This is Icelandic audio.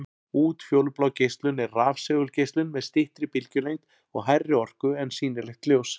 Útfjólublá geislun er rafsegulgeislun með styttri bylgjulengd og hærri orku en sýnilegt ljós.